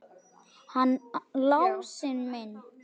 Hann Lási minn!